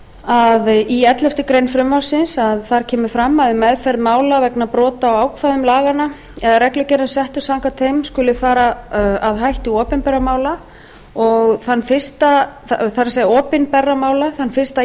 að í elleftu greinar frumvarpsins kemur fram að við meðferð mála vegna brota á ákvæðum laganna eða reglugerðum settum samkvæmt þeim skuli fara að hætti opinberra mála þann fyrsta